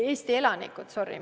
Eesti elanikud, sorry!